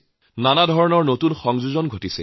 বহু ধৰণৰ পদ্ধতি যুক্ত কৰা হৈছে